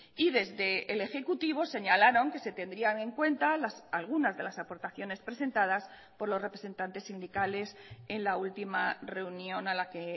y desde el ejecutivo señalaron que se tendrían en cuenta algunas de las aportaciones presentadas por los representantes sindicales en la última reunión a la que